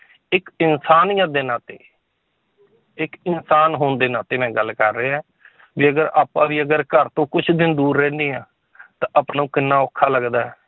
ਇੱਕ ਇਨਸਾਨੀਅਤ ਦੇ ਨਾਤੇ ਇੱਕ ਇਨਸਾਨ ਹੋਣ ਦੇ ਨਾਤੇ ਮੈਂ ਗੱਲ ਕਰ ਰਿਹਾ ਹੈ ਜੇਕਰ ਆਪਾਂ ਵੀ ਅਗਰ ਘਰ ਤੋਂ ਕੁਛ ਦਿਨ ਦੂਰ ਰਹਿੰਦੇ ਹਾਂ ਤਾਂ ਆਪਾਂ ਨੂੰ ਕਿੰਨਾ ਔਖਾ ਲੱਗਦਾ ਹੈ